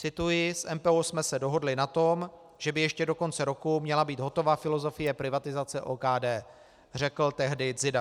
Cituji: "S MPO jsme se dohodli na tom, že by ještě do konce roku měla být hotova filozofie privatizace OKD," řekl tehdy Dzida.